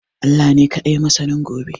Allah ka dai ne masanin gobe